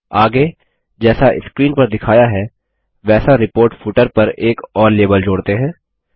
आगे जैसा स्क्रीन पर दिखाया है वैसा रिपोर्ट फूटर पर एक और लाबेल जोड़ते हैं